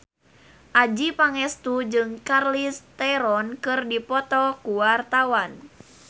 Adjie Pangestu jeung Charlize Theron keur dipoto ku wartawan